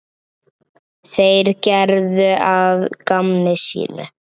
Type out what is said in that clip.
Þeir gerðu að gamni sínu.